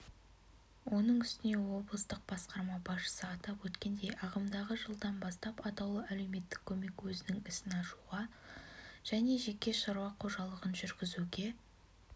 оның үстіне облыстық басқарма басшысы атап өткендей ағымдағы жылдан бастап атаулы әлеуметтік көмек өзінің ісін ашуға және жеке шаруа қожалығын жүргізуге